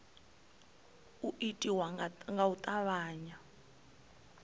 u itiwa nga u tavhanya